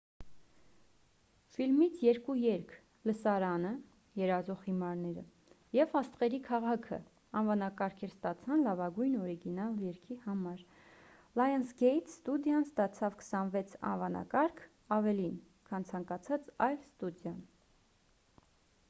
ֆիլմից երկու երգ՝ լսարանը երազող հիմարները և աստղերի քաղաքը անվանակարգեր ստացան լավագույն օրիգինալ երգի համար: լայընսգեյթ ստուդիան ստացավ 26 անվանակարգ՝ ավելին քան ցանկացած այլ ստուդիա: